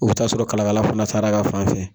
Oka ta'a sɔrɔ kalakala fana taara ka fan fɛ